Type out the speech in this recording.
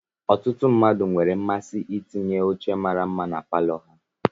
Ọtụtụ mmadụ nwere mmasị itinye oche mara mma na palọ ha.